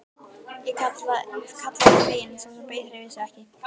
kallaði ég fegin en sá sem beið hreyfði sig ekki.